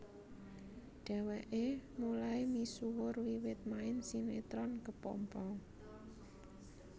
Dheweke mulai misuwur wiwit main sinetron Kepompong